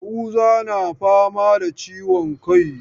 Yahuza na fama da ciwon kai.